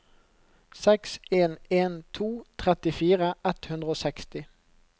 seks en en to trettifire ett hundre og seksti